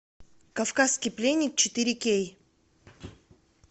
кавказский пленник четыре кей